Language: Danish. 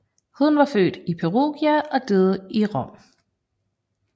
Han var født i Perugia og døde i Rom